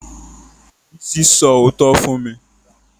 Bísí sọ òótọ́ fún mi